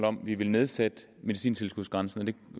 om vi vil nedsætte medicintilskudsgrænsen er det